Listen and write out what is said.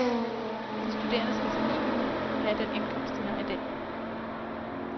De studerende skal som minimum have den indkomst, de har i dag.